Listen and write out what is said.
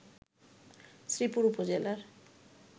শ্রীপুর উপজেলার